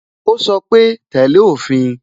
Ó sọ pé "tẹ́lẹ̀ òfin"